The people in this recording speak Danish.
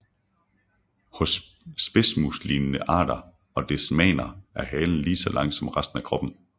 Hos spidsmuslignende arter og desmaner er halen lige så lang som resten af kroppen